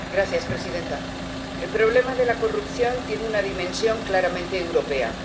Señora presidenta, el problema de la corrupción tiene una dimensión claramente europea.